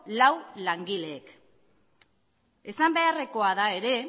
lau langileek esan beharrekoa da ere